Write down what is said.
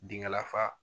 Dingɛ lafa